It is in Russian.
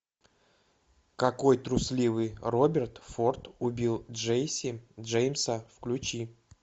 какой трусливый роберт форд убил джесси джеймса включи